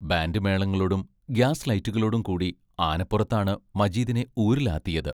Band മേളങ്ങളോടും gas ലൈറ്റുകളോടും കൂടി ആനപ്പുറത്താണ് മജീദിനെ ഊരുലാത്തിയത്.